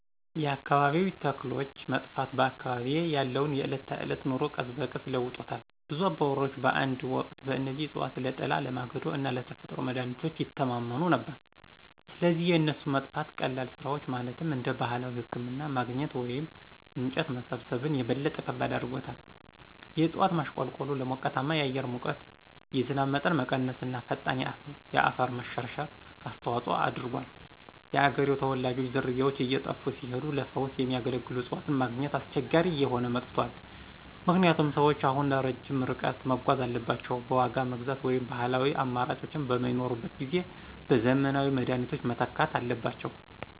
የአካባቢያዊ ተክሎች መጥፋት በአካባቢዬ ያለውን የዕለት ተዕለት ኑሮ ቀስ በቀስ ለውጦታል. ብዙ አባወራዎች በአንድ ወቅት በእነዚህ እፅዋት ለጥላ፣ ለማገዶ እና ለተፈጥሮ መድሀኒቶች ይተማመኑ ነበር፣ ስለዚህ የእነሱ መጥፋት ቀላል ስራዎችን ማለትም እንደ ባህላዊ ህክምና ማግኘት ወይም እንጨት መሰብሰብን - የበለጠ ከባድ አድርጎታል። የእጽዋት ማሽቆልቆሉ ለሞቃታማ የአየር ሙቀት፣ የዝናብ መጠን መቀነስ እና ፈጣን የአፈር መሸርሸር አስተዋጽኦ አድርጓል። የአገሬው ተወላጆች ዝርያዎች እየጠፉ ሲሄዱ ለፈውስ የሚያገለግሉ እፅዋትን ማግኘት አስቸጋሪ እየሆነ መጥቷል ምክንያቱም ሰዎች አሁን ረጅም ርቀት መጓዝ አለባቸው፣ በዋጋ መግዛት ወይም ባህላዊው አማራጮች በማይኖሩበት ጊዜ በዘመናዊ መድኃኒቶች መተካት አለባቸው።